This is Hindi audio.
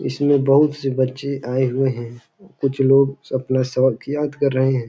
इसमें बहुत से बच्चे आए हुए हैं। कुछ लोग अपना शोंक याद कर रहे हैं।